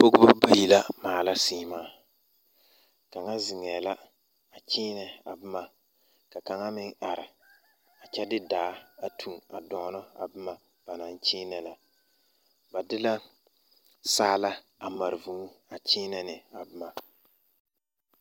Pɔgeba bayi la maala seemaa kaŋa zeŋɛɛ la a kyeenɛ a boma ka kaŋa meŋ are a kyɛ de daa a toŋ a dɔɔnɔ a boma ba naŋ kyeenɛ ba de la saala a mare vūū a kyeenɛ ne a boma.